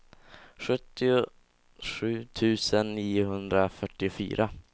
sjuttiosju tusen niohundrafyrtiofyra